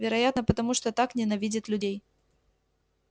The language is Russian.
вероятно потому что так ненавидит людей